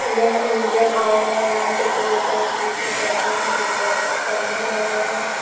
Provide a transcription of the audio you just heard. यह Indian oil है यहां पेट्रोल टंकी से केहता हैं एक बड़ा सा बैनर लगा हुआ है।